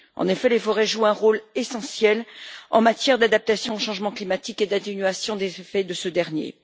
En effet, les forêts jouent un rôle essentiel en matière d'adaptation au changement climatique et d'atténuation des effets de ce dernier.